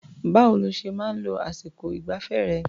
Báwo lo ṣe máa ń lo àsìkọ ìgbafẹ́ rẹ̀?